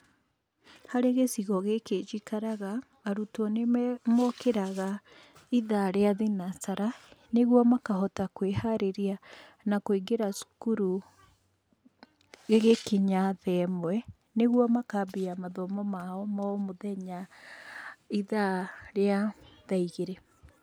Harĩ gĩcigo gĩkĩ njikaraga, arutwo nĩ mokĩraga itha rĩa thinacara, nĩguo makohota kwĩharĩria na kũingĩra cukuru ĩgĩkinya the mwe, nĩguo makambĩrĩria mathomo mao ma o mũthenya itha rĩa tha igĩrĩ.